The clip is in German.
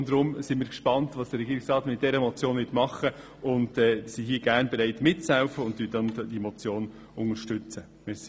Deshalb sind wir gespannt, was der Regierungsrat mit dieser Motion machen wird und unterstützten sie.